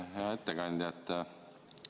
Hea ettekandja!